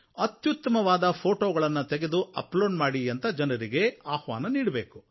ಅತ್ಯುತ್ತಮವಾದ ಫ಼ೋಟೋಗಳನ್ನು ತೆಗೆದು ಅಪ್ಲೋಡ್ ಮಾಡಿ ಅಂತ ಜನರಿಗೆ ಆಹ್ವಾನ ನೀಡಬೇಕು